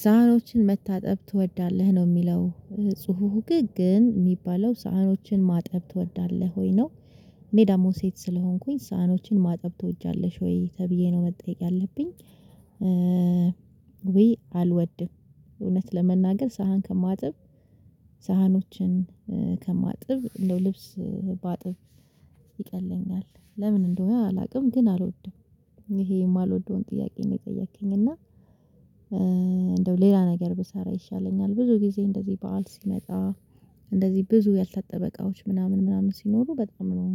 ሳህኖችን መታጠብ ትወዳለህ ነው የሚለው ጽሁፍ ግን የሚባለው ሳህኖችን ማጠብ ትወዳለህ ወይ ነው? እኔ ደግሞ ሴት ስለሆንኩኝ ሳህኖችን ማጠብ ትወጃለሽ ወይ ተብዬ ነው መጠየቅ ያለብኝ? ወይ አልወድም። እውነት ለመናገር ሳህን ከማጥብ ሳህኖችን ከማጥብ እንደው ልብስ ባጥብ ይቀለኛል ለምን እንደሆነ አላውቅም ግን አልወድም። ይሄ የማልወደውን ጥያቄ ነው የጠየከኝ እና እንደው ሌላ ነገር ብሰራ ይሻለኛል። ብዙ ጊዜ እንደዚህ በዓል ሲመጣ እንደዚህ ብዙ ያልታጠበ እቃዎች ምናምን ምናምን ሲኖሩ በጣም ነው